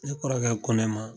Ne kɔrɔkɛ ko ne ma